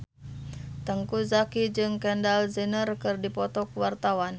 Teuku Zacky jeung Kendall Jenner keur dipoto ku wartawan